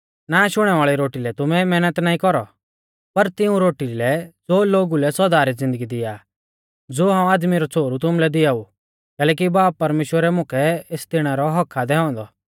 नाष हुणै वाल़ी रोटी लै तुमै मैहनत नाईं कौरौ पर तिऊं रोटी लै ज़ो लोगु लै सौदा री ज़िन्दगी दिया आ ज़ो हाऊं आदमी रौ छ़ोहरु तुमुलै दिआऊ कैलैकि बाब परमेश्‍वरै मुकै एस दैणै रौ हक्क्क आ दैऔ औन्दौ